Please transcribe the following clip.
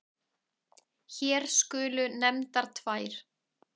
Hér skulu nefndar tvær.